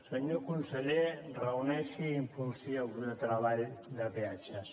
senyor conseller reuneixi i impulsi el grup de treball de peatges